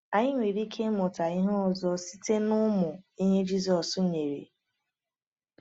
Anyị nwere ike ịmụta ihe ọzọ site n’ụmụ ihe Jisọs nyere.